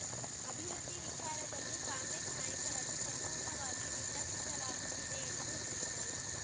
ಅಭಿವೃದ್ಧಿ ವಿಚಾರದಲ್ಲೂ ಕಾಂಗ್ರೆಸ್‌ ನಾಯಕರನ್ನು ಸಂಪೂರ್ಣವಾಗಿ ನಿರ್ಲಕ್ಷಿಸಲಾಗುತ್ತಿದೆ ಎಂದು ದೂರಿದರು